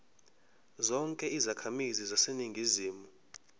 zonke izakhamizi zaseningizimu